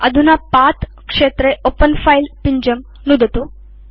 अधुना पथ क्षेत्रे ओपेन fileपिञ्जं नुदतु